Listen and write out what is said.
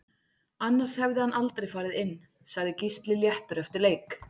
Annars hefði hann aldrei farið inn Sagði Gísli léttur eftir leik